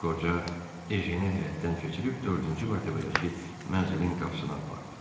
Qoca Ejenə həyətdən keçirib dördüncü mərtəbədəki mənzilin qapısına apardı.